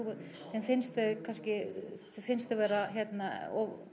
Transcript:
þeim finnst þau kannski þeim finnst þau vera hérna